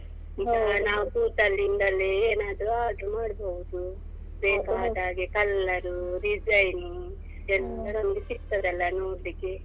ನಾವ್ ಕೂತಲ್ಲಿಂದಲೇ ಏನಾದ್ರು order ಮಾಡ್ಬಹುದು ಬೇಕಾದಾಗೆ colour, design ಎಲ್ಲ ನಮಗೆ ಸಿಕ್ತದಲ್ಲಾ ನೋಡ್ಲಿಕ್ಕೆ.